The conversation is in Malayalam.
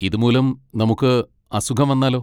ഇതുമൂലം നമുക്ക് അസുഖം വന്നാലോ?